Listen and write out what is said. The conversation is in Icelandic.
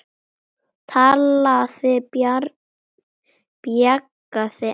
Talaði bjagaða ensku